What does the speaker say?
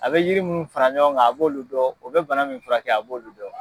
A bɛ yiri minnu fara ɲɔgɔn kan a b'olu dɔn o bɛ bana min fura kɛ a b'olu dɔn.